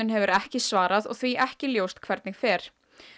hefur ekki svarað og því er ekki ljóst hvernig fer